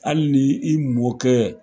Hali ni i mɔkɛ